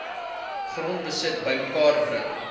grondbesit bymekaar bring